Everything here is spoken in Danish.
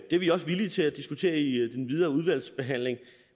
det er vi også villige til at diskutere i den videre udvalgsbehandling